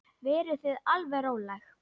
Verið þið alveg róleg.